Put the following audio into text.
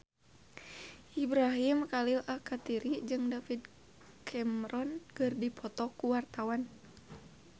Ibrahim Khalil Alkatiri jeung David Cameron keur dipoto ku wartawan